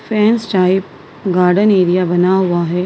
Fans type garden area बना हुआ है।